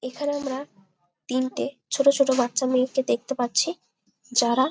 এইখানে আমরা তিনটে ছোটো ছোটো বাচ্চা মেয়েকে দেখতে পাচ্ছি। যারা --